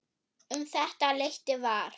Um þetta leyti var